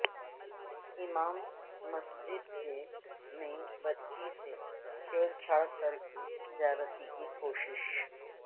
امام مسجد نے بچی سے چھیڑ چھاڑ کر کے زیادتی کی کوشش